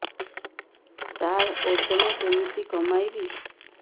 ସାର ଓଜନ କେମିତି କମେଇବି